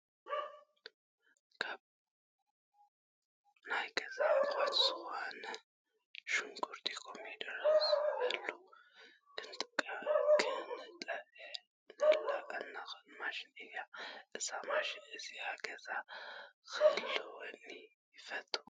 ካብ ናይ ገዛ ኣቁሑት ዝኮነት ሽጉርቲ ፣ ኮሚደረ ፣ ዝበሉ ክንጥሕነላ እንኽእል ማሽን እያ። እዛ ማሽን እዚ ኣብ ገዛ ክትህልወኒ ይፈትው ።